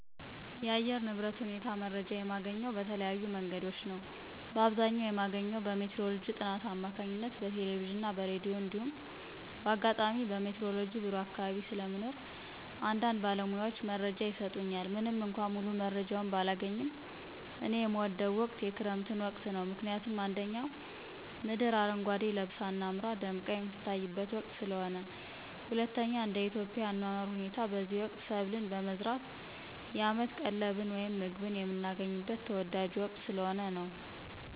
የአየር ንብረት ሁኔታ መረጃ የማገኘው በተለያዩ መንገዶች ነዉ። በአብዘኛዉ የማገኘው በሜትሮሎጅ ጥናት አማካኝነት በቴለቬዥንና በራዲዮ እንዲሁም ባጋጣሚ በሜትሮሎጅ ቢሮ አካባቢ ስለሞኖር አንዳንድጊዝ ባለሙያዎች መረጃ ይሰጡኛል። ምንምእኳ ሙሉመረጃውን ባላገኝም። እኔ የምወደው ወቅት የክረምት ወቅትን ነው። ምክንያቱም፦ 1)ምድር አረጓዴ ለበሳ አምራና ደምቃ የምትታይበት ወቅት ስለሆነ። 2)እንደኢትዮጵያ የአኗኗር ሁኔታ በዚህ ወቅት ሰብልን በመዝራት አመት ቀለብን ወይም ምግብን የምናገኝበት ተወዳጁ ወቅት ስለሆነ።